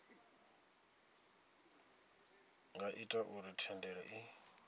nga ita uri thendelo i